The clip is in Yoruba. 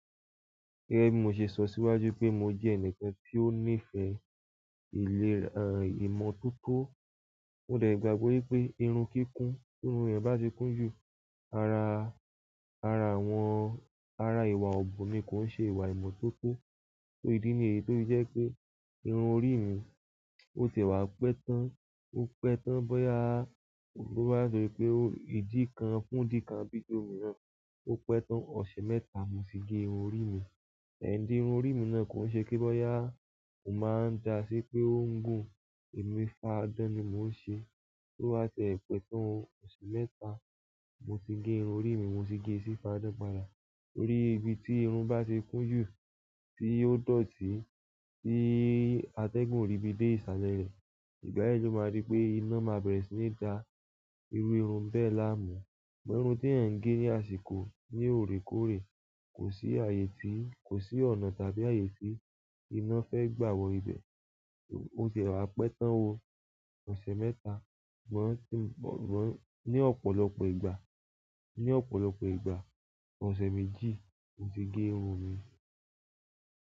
Gẹ́gẹ́ bí mo ṣe sọ síwájú pé mo jẹ́ ẹnìkan tí ó nífẹ̀ẹ́ ìlera ìmọ̀toto, mó de gbàgbọ́ wípé irun kíkún, tí irun eeyan bá ti kún jù, ara, ara àwọn, ara ìwà ọ̀bùn ni kò ń ṣe ìwà ìmọ̀toto. So ìdí nì èyí, to fí jẹ́ wipé irun orí mi, ó tiẹ̀ wá pẹ́ tán, ó pẹ́ tán bóyá boba se wípé ìdí kan fún dikan bí tomi rán. Ó pẹ́ tán ọ̀sẹ̀ mẹ́ta mo tì gé irun orí mi. Ẹ̀ ń di irun orí mi náà kò ń ṣe kí bóyá mo máa ń dà sí pé ó ń gùn. O ni faa dan ni mo n se, to ba tie pe tan o, oṣù mẹ́ta, mo ti ge irun orí mi mo ti ge si faa dan padà torí ibi ti irun ba ti kun ju, ti o dọ̀tí, ti ategun o ribi de isale re, ìgbà náà lo maa ri pe ina maa bere si ni da iru irun bẹ́ẹ̀ láàmú bó irun tí ẹ̀eyan ń gé ní àsìkò, ní òorékoórè, kò sí ààyè tí, kò sí ọ̀nà tàbí ààyè tí iná fẹ́ gbà wọ ibẹ̀. Ó tiẹ̀ wá pẹ́ tán o ọ̀sẹ̀ mẹ́ta, ṣùgbọ́n tí, ṣùgbọ́n ní ọ̀pọ̀lọpọ̀ ìgbà, ní ọ̀pọ̀lọpọ̀ ìgbà, ọ̀sẹ̀ méjì mo ti gé irun mi.